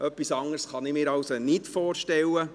Etwas anderes kann ich mir also nicht vorstellen.